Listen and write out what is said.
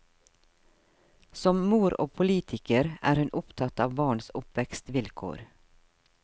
Som mor og politiker er hun opptatt av barns oppvekstvilkår.